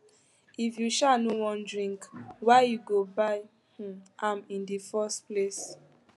if you um no wan drink why you go buy um am in the first place